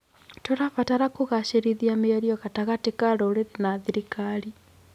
Tũrabatara kũgacĩrithia mĩario gatagatĩ ka rũrĩrĩ na thirikari.